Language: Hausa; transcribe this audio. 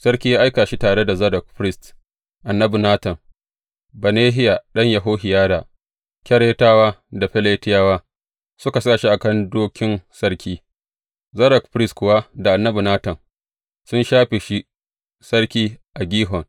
Sarki ya aika shi tare da Zadok firist, annabi Natan, Benahiya ɗan Yehohiyada, Keretawa, da Feletiyawa, suka sa shi a kan dokin sarki, Zadok firist kuwa da annabi Natan sun shafe shi sarki a Gihon.